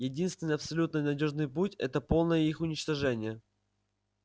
единственный абсолютно надёжный путь это полное их уничтожение